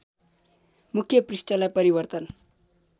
मुख्य पृष्ठलाई परिवर्तन